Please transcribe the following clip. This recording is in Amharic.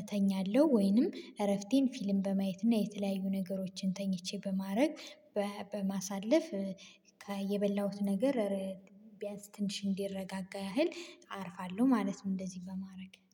እተኛለሁ ወይንም እረፍቴን ፊልም በማየት እና የተለያዩ ነገሮችን ተኝቼ በማድረግ በማሳለፍ የበላሁት ነገር ቢያንስ ትንሽ እንዲረጋጋ ያህል አርፋለሁ ማለት ነው። እንደዚህ በማድረግ